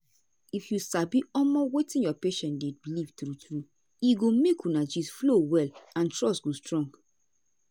if you sabi omo wetin your patient dey believe true true e go make una gist flow well and trust go strong.